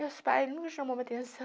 Meus pais nunca me chamou a atenção.